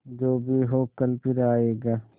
जो भी हो कल फिर आएगा